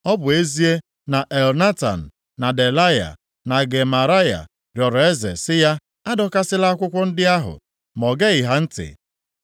Ọ bụ ezie na Elnatan na Delaya na Gemaraya rịọrọ eze sị ya adọkasịla akwụkwọ ndị ahụ, ma o geghị ha ntị.